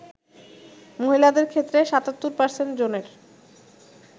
মহিলাদের ক্ষেত্রে ৭৭% জনের